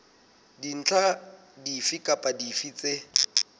dintlha dife kapa dife tse